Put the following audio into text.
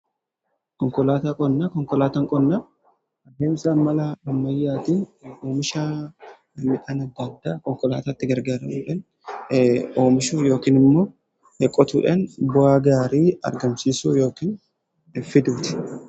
Konkolaataa qonnaa adeemsa malaa ammayyaatiin oomisha midhaan adda addaa konkolaataatti gargaaramudhaan oomishuu yookiin immoo qotuudhaan bu'aa gaarii argamsiisuu yookiin fiduuti.